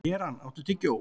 Keran, áttu tyggjó?